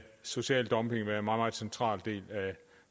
social dumping være meget central del af